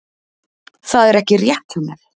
Það er ekki rétt hjá mér.